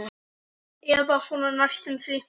Eða svona næstum því.